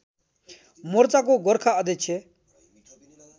मोर्चाको गोर्खा अध्यक्ष